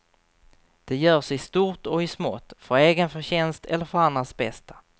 Det görs i stort och i smått, för egen förtjänst eller för andras bästa.